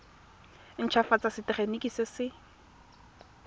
nt hafatsa setefikeiti se se